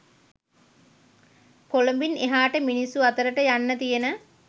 කොළඹින් එහාට මිනිස්සු අතරට යන්න තියෙන